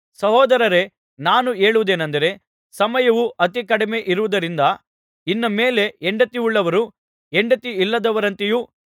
ಸಹೋದರರೇ ನಾನು ಹೇಳುವುದೇನಂದರೆ ಸಮಯವು ಅತಿಕಡಿಮೆಯಿರುವುದ್ದರಿಂದ ಇನ್ನು ಮೇಲೆ ಹೆಂಡತಿಯುಳ್ಳವರು ಹೆಂಡತಿಯಿಲ್ಲದವರಂತೆಯೂ